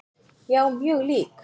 Já, mjög lík.